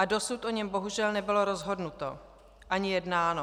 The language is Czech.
A dosud o něm bohužel nebylo rozhodnuto ani jednáno.